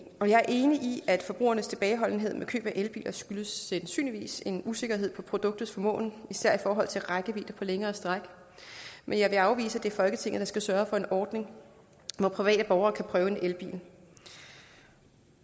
er enig i at forbrugernes tilbageholdenhed med køb af elbiler sandsynligvis skyldes en usikkerhed om produktets formåen især i forhold til rækkevidde på længere stræk men jeg vil afvise at det er folketinget der skal sørge for en ordning hvor private borgere kan prøve en elbil